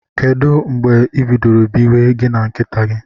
Kedu mgbe ibidoro biwe gi na nkita gi?